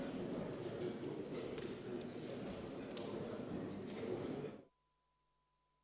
Istungi lõpp kell 20.28.